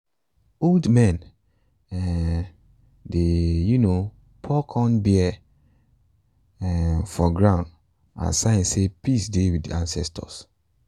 old men um dey um pour corn beer um for ground as sign say peace dey with the ancestors.